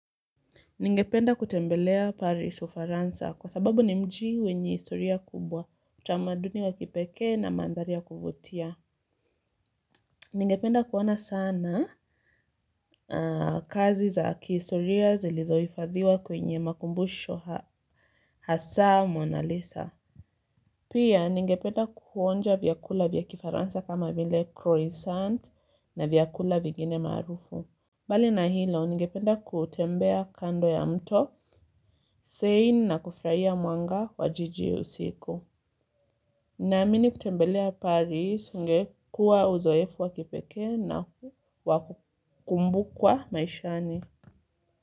Ningependa kutembelea Paris, ufaransa. Kwa sababu ni mji wenye historia kubwa, utamaduni wa kipekee na mandhari ya kuvutia. Ningependa kuona sana kazi za kihistoria zilizohifadhiwa kwenye makumbusho hasa Monalisa. Pia ningependa kuonja vyakula vya kifaransa kama vile 'croissant' na vyakula vigine maarufu. Mbali na hilo, ningependa kutembea kando ya mto, Sein na kufurahia mwanga wa jiji usiku. Naamini kutembelea Paris, ungekuwa uzoefu wa kipekee na wakukumbukwa maishani.